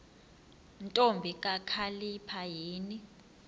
ntombi kakhalipha yini